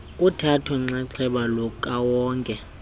uthatho nxaxheba lukawonke